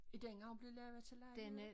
Er den også blevet lavet til lejligheder?